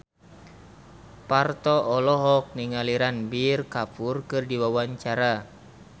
Parto olohok ningali Ranbir Kapoor keur diwawancara